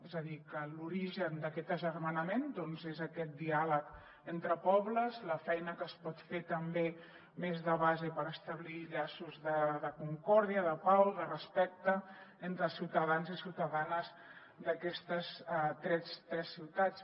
és a dir que l’origen d’aquest agermanament és aquest diàleg entre pobles la feina que es pot fer també més de base per establir llaços de concòrdia de pau de respecte entre els ciutadans i ciutadanes d’aquestes tres ciutats